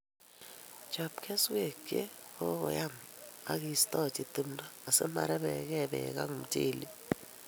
Chob kesweek che kakoyam akiistoji timdo asimorebegei beek ak mchelek